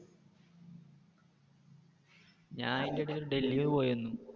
ഞാൻ അതിന്റെ ഇടയില് ഡൽഹി പോയിവന്നു.